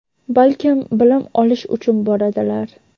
balkim bilim olish uchun boradilar.